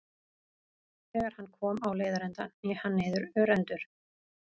Þegar hann kom á leiðarenda hné hann niður örendur.